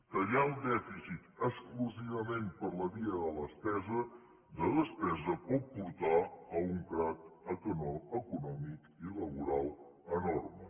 tallar el dèficit exclusivament per la via de la despesa pot portar a un crac econòmic i laboral enorme